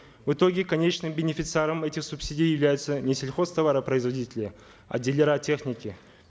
в итоге конечным бенефициаром этих субсидий являются не сельхозтоваропроизводители а дилеры техники